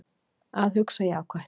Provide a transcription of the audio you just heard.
Að hugsa jákvætt